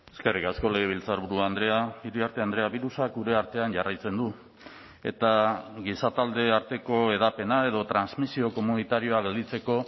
eskerrik asko legebiltzarburu andrea iriarte andrea birusak gure artean jarraitzen du eta gizatalde arteko hedapena edo transmisio komunitarioa gelditzeko